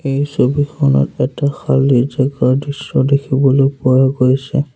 এই ছবিখনত এটা খালি জাগাৰ দৃশ্য দেখিবলৈ পোৱা গৈছে।